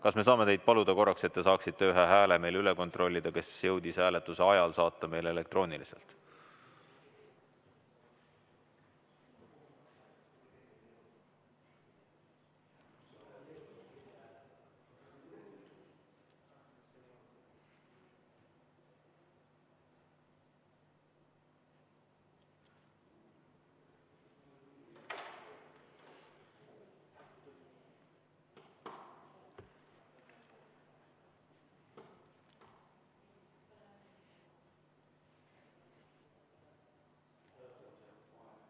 Kas me saame teid paluda korraks, et te saaksite üle kontrollida ühe hääle, mis jõudis hääletuse ajal meile elektrooniliselt?